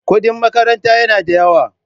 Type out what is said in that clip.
Kudin makaranta yana da yawa.